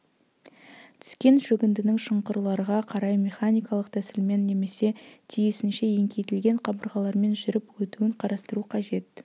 түскен шөгіндінің шұңқырларға қарай механикалық тәсілмен немесе тиісінше еңкейтілген қабырғалармен жүріп өтуін қарастыру қажет